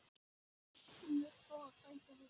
HÚN vill fá að sækja hestinn.